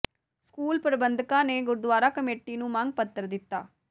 school ਪ੍ਰਬੰਧਕਾਂ ਨੇ gurdwara committee ਨੂੰ ਮੰਗ ਪੱਤਰ ਦਿੱਤਾ